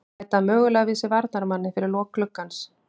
Bæta mögulega við sig varnarmanni fyrir lok gluggans.